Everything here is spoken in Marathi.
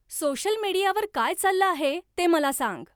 सोशल मीडियावर काय चाललं आहे ते मला सांग